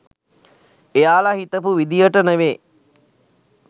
එයාලා හිතපු විධියට නෙවේ.